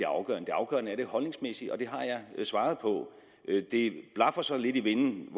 afgørende det afgørende er det holdningsmæssige og det har jeg svaret på det blafrer så lidt i vinden